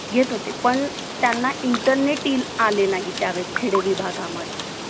कबड्डी, खो-खो, गिल्ली-दंडा, लपा-छपी खेळायचो. रोज कुणाला न कुणाला त्रास देऊन पळून जाण. हे खूप छान वाटत होत.